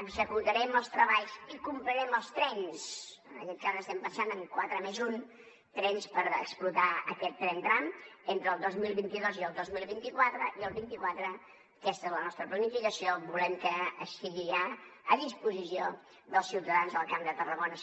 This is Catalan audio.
executarem els treballs i comprarem els trens en aquest cas estem pensant en quatre més un trens per explotar aquest tren tram entre el dos mil vint dos i el dos mil vint quatre i el vint quatre aquesta és la nostra planificació volem que estigui ja a disposició dels ciutadans del camp de tarragona